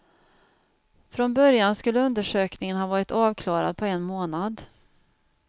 Från början skulle undersökningen ha varit avklarad på en månad.